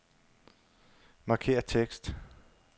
Markér tekst.